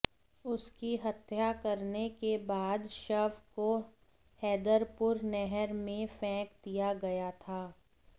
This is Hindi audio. उसकी हत्या करने के बाद शव को हैदरपुर नहर में फेंक दिया गया था